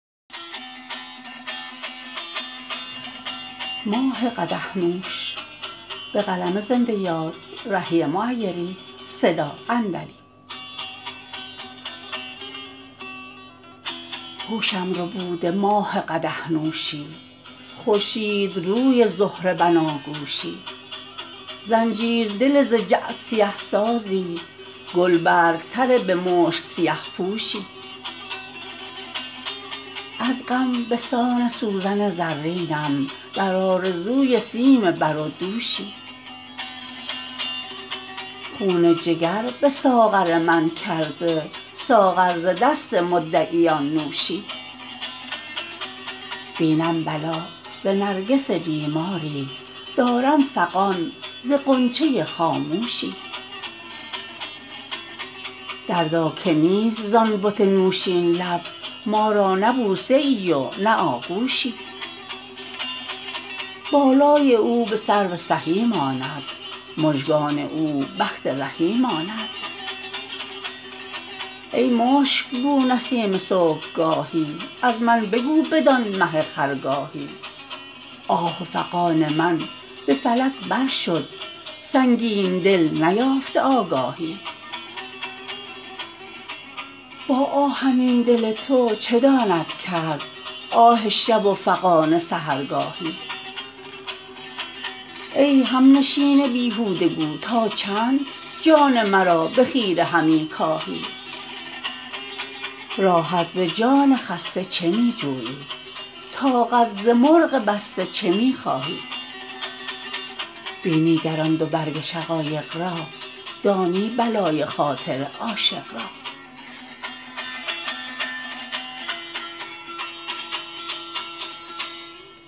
هوشم ربوده ماه قدح نوشی خورشیدروی زهره بناگوشی زنجیر دل ز جعد سیه سازی گلبرگ تر به مشک سیه پوشی از غم به سان سوزن زرینم در آرزوی سیم بر و دوشی خون جگر به ساغر من کرده ساغر ز دست مدعیان نوشی بینم بلا ز نرگس بیماری دارم فغان ز غنچه خاموشی دردا که نیست ز آن بت نوشین لب ما را نه بوسه ای و نه آغوشی بالای او به سرو سهی ماند مژگان او بخت رهی ماند ای مشکبو نسیم صبحگاهی از من بگو بدان مه خرگاهی آه و فغان من به فلک بر شد سنگین دلت نیافته آگاهی با آهنین دل تو چه داند کرد آه شب و فغان سحرگاهی ای هم نشین بیهوده گو تا چند جان مرا به خیره همی کاهی راحت ز جان خسته چه می جویی طاقت ز مرغ بسته چه می خواهی بینی گر آن دو برگ شقایق را دانی بلای خاطر عاشق را